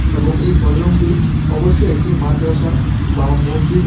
এবং এই হলরুমটি অবশ্যই একটি মাদ্রাসা বা মসজিদে--